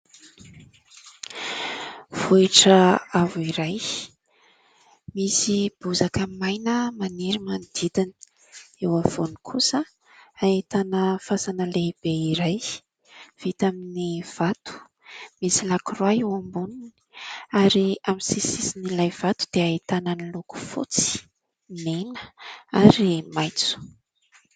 Vohitra avo iray misy bozaka maina maniry manodidina. Eo afovoany kosa ahitana fasana lehibe iray vita amin'ny vato misy lakroa eo amboniny ary amin'ny sisin'ilay vato dia ahitana ny loko fotsy, mena ary maitso.